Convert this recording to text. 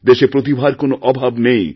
দেশেপ্রতিভার কোনও অভাব নেই